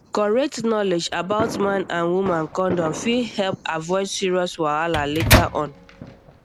correct knowledge about man and woman condom fit help avoid serious wahala later on